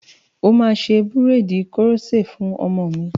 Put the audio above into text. O máa ṣe búréèdì koroṣé fún ọmọ mi.